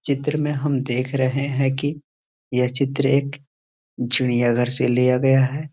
चित्र में हम देख रहे हैं की ये चित्र एक चिड़ियां घर से लिया गया है।